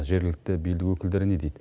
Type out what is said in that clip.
жергілікті билік өкілдері не дейді